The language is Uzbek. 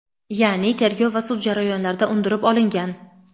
ya’ni tergov va sud jarayonlarida undirib olingan.